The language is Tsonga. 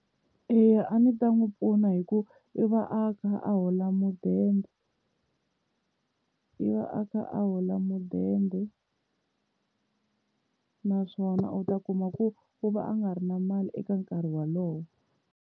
Eya a ndzi ta n'wi pfuna hi ku i va a kha a hola mudende i va a kha a hola mudende naswona u ta kuma ku u va a nga ri na mali eka nkarhi wolowo.